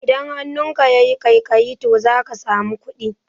Idan hannunka yayi ƙaiƙayi to zaka samu kuɗi